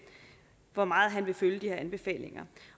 hvor meget han vil følge de her anbefalinger